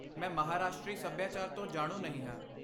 ਮੈਂ ਮਹਾਰਾਸ਼ਟਰੀ ਸੱਭਿਆਚਾਰ ਤੋਂ ਜਾਣੂ ਨਹੀਂ ਹਾਂ।